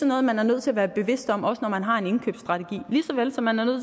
noget man er nødt til at være bevidst om også når man har en indkøbsstrategi lige så vel som man er nødt